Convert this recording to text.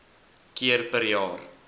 keer per jaar